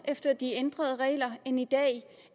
efter de ændrede regler bliver end i dag